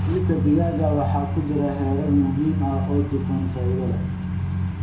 Hilibka digaaga waxaa ku jira heerar muhiim ah oo dufan faa'iido leh,